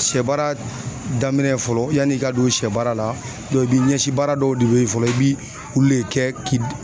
Sɛ baara daminɛ fɔlɔ ,yani i ka don sɛ baara la i b'i ɲɛsi baara dɔw de be yen fɔlɔ i bi olu de kɛ k'i